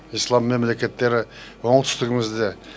ислам мемлекеттері оңтүстігімізде